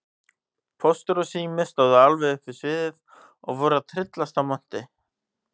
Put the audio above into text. Póstur og Sími stóðu alveg upp við sviðið og voru að tryllast af monti.